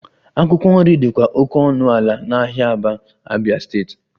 Akwụkwọ nri dịkwa oke ọnụ ala n'ahịa Aba, Abia steeti